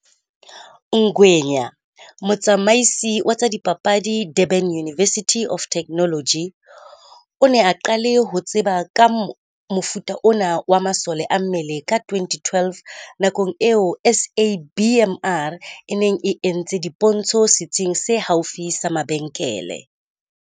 Ngwenya, motsamaisi wa tsa dipapadi Durban Uni versity of Technology, o ne a qale ho tseba ka mofuta ona wa masole a mmele ka 2012 nakong eo SABMR e neng e entse dipontsho sitsing se haufi sa mabenkele.